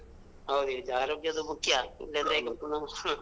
ಹೌದ್ ಆರೋಗ್ಯದ ಮುಖ್ಯ ಇಲ್ಲಾಂದ್ರೆ ಈಗ ಪುನಾ.